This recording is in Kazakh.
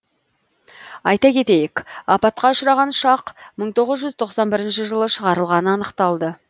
айта кетейік апатқа ұшыраған ұшақ мың тоғыз жүз тоқсан бірінші жылы шығарылғаны анықталды